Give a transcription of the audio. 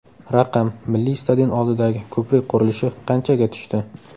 Raqam: Milliy stadion oldidagi ko‘prik qurilishi qanchaga tushdi?.